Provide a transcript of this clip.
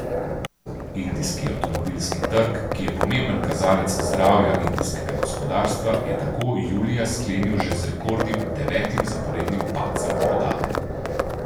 Indijski avtomobilski trg, ki je pomemben kazalec zdravja indijskega gospodarstva, je tako julija sklenil že z rekordnim, devetim zaporednim padcem prodaje.